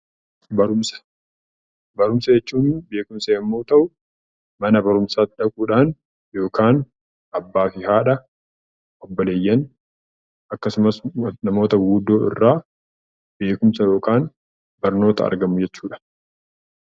Barumsa Barumsa jechuun beekumsa yommuu ta'u, mana barumsaa dhaquudhaan yookaan abbaa fi haadha, obboleeyyan akkasumas namoota guguddoo irraa beekumsa (barnoota) argamu jechuu dha.